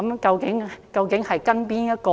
究竟應跟從哪一套？